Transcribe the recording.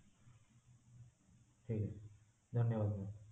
ଠିକଅଛି ଧନ୍ୟବାଦ ma'am